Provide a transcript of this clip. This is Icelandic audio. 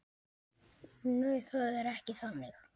Nei, það er ekki þannig.